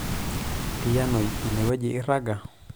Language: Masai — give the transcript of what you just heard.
Tiyianoi ine wueji iiirrag